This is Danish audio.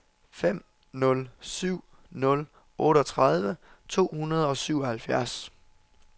fem nul syv nul otteogtredive to hundrede og syvoghalvfjerds